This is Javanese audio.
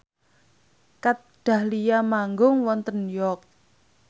Kat Dahlia manggung wonten York